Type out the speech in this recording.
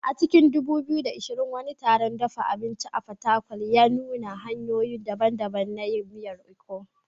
A cikin 2020, wani taron dafa abinci a Fatakwal ya nuna hanyoyi daban-daban na yin miyar Ikong.